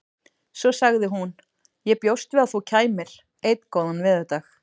Svo sagði hún: Ég bjóst við að þú kæmir. einn góðan veðurdag